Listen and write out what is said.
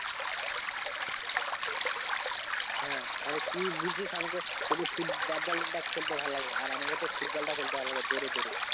হ্যাঁ তাহলে তুই বলছিস আমাকে শুধু ফুটবল ব্যাট বল টা খেলতে ভালো লাগে আর আমাকে তো ফুটবলটা খেলতে দৌড়ে দৌড়ে